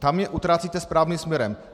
Tam je utrácíte správným směrem.